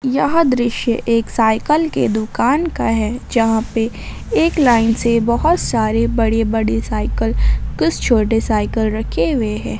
यह दृश्य एक साइकल के दुकान का है जहां पे एक लाइन से बहुत सारी बड़ी बड़ी साइकल कुछ छोटे साइकल रखे हुए हैं।